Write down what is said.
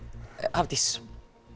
Hafdís